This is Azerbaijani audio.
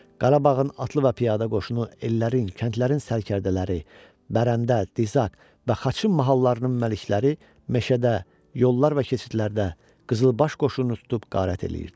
Qarabağın atlı və piyada qoşunu, ellərin, kəndlərin sərkərdələri, Bərəndə, Dizaq və Xaçın mahallarının məlikləri meşədə, yollar və keçidlərdə qızılbaş qoşununu tutub qarət eləyirdilər.